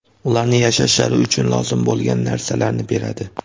ularning yashashlari uchun lozim bo‘lgan) narsalarini beradi.